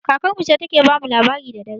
Kakar mu ce ta ke ba mu labari da dare